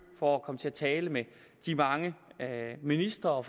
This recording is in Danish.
for at komme til at tale med de mange ministre og